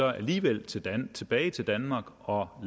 alligevel tilbage tilbage til danmark og